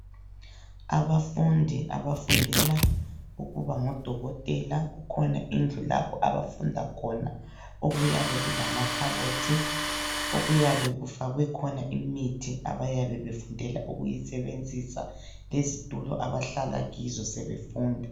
Abafundi abafundela ukuba ngodokotela kukhona indlu lapho abafunda khona, okuyabe kulamakhabothi okuyabe kufakwe khona imithi abayabe befundela ukuyisebenzisa lezitulo abahlala kizo sebefunda.